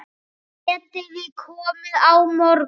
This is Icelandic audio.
Getiði komið á morgun?